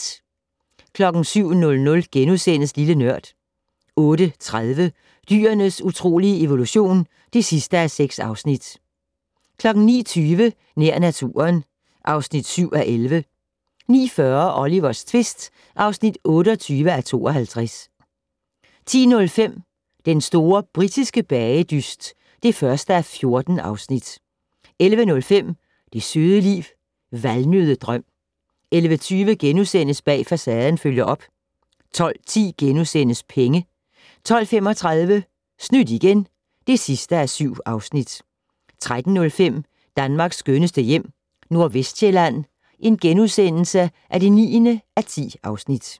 07:00: Lille Nørd * 08:30: Dyrenes utrolige evolution (6:6) 09:20: Nær naturen (7:11) 09:40: Olivers tvist (28:52) 10:05: Den store britiske bagedyst (1:14) 11:05: Det søde liv - Valnøddedrøm 11:20: Bag Facaden følger op * 12:10: Penge * 12:35: Snydt igen (7:7) 13:05: Danmarks skønneste hjem - Nordvestsjælland (9:10)*